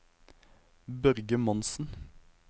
Børge Monsen